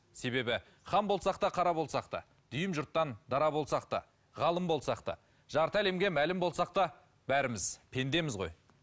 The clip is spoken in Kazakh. себебі хан болсақ та қара болсақ та дүйім жұрттан дара болсақ та ғалым болсақ та жарты әлемге мәлім болсақ та бәріміз пендеміз ғой